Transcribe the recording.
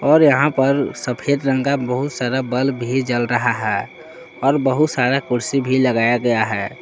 और यहां पर सफेद रंग का बहुत सारा बल्ब भी जल रहा है और बहुत सारा कुर्सी भी लगाया गया है।